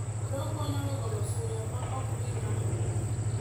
Odok konyo e golo suya ma ok mi ng'ato mor.